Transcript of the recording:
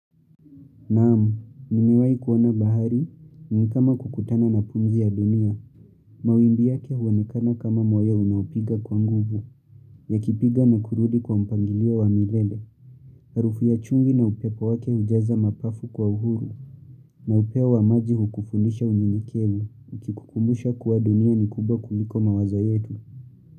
Naamu, nimewai kuoana bahari, ni kama kukutana na pumzi ya dunia. Mawimbi yake huonekana kama moyo unaupiga kwa nguvu. Ya kipiga na kurudi kwa mpangilio wa milele. Harufu ya chumvi na upepo wake ujaza mapafu kwa uhuru. Na upeo wa maji hukufundisha unyenyekevu. Ukikukumbusha kuwa dunia ni kubwa kuliko mawazo yetu.